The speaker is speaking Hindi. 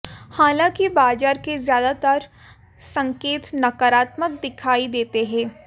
हालांकि बाजार के ज्यादातर संकेत नकारात्मक दिखाई देते हैं